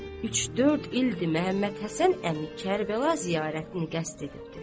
Üç-dörd ildir Məhəmməd Həsən əmi Kərbəla ziyarətini qəsd edibdir.